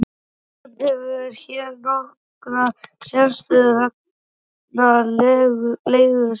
Ísland hefur hér nokkra sérstöðu vegna legu sinnar.